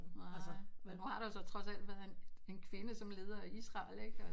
Nej men nu har der så trods alt været en en kvinde som leder i Israel ikke og